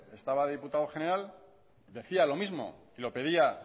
estaba de diputado general decía lo mismo lo pedía